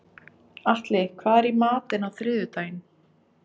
Atli, hvað er í matinn á þriðjudaginn?